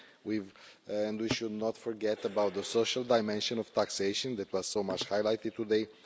We should not forget about the social dimension of taxation that was much highlighted today.